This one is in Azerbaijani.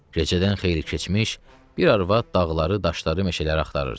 Gecədən xeyli keçmiş bir arvad dağları, daşları, meşələri axtarırdı.